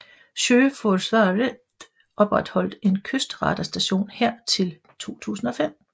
Sjøforsvaret opretholdt en kystradarstation her til 2005